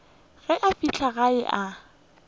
ge a fihla gae a